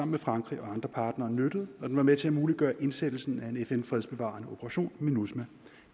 med frankrig og andre partnere nyttede og den var med til at muliggøre indsættelsen af en fn fredsbevarende operation minusma